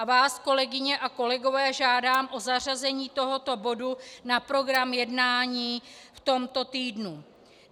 A vás, kolegyně a kolegové, žádám o zařazení tohoto bodu na program jednání v tomto týdnu.